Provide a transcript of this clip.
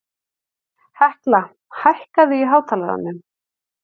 Hekla, hækkaðu í hátalaranum.